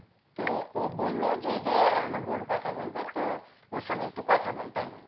তো ও বললো যে এই দেখ আমার বোন কথা বলবে তো ওর সঙ্গে একটু কথা বল তাই বললো